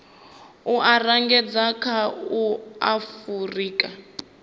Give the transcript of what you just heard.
u angaredza kha a afurika